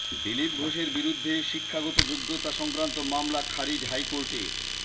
দিলীপ ঘোষের বিরুদ্ধে শিক্ষাগত যোগ্যতা সংক্রান্ত মামলা খারিজ হাইকোর্টের